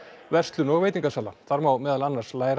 verslun og veitingasala þar má meðal annars læra